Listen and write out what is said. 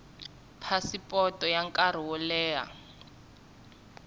phasipoto ya nkarhi wo leha